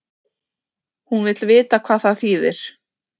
Hún vill vita hvað það þýðir.